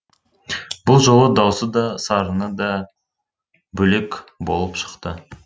бұл жолы даусы да сарыны да бөлек болып шықты